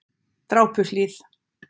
Drápuhlíð